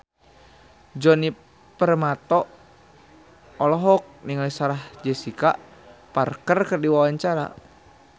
Djoni Permato olohok ningali Sarah Jessica Parker keur diwawancara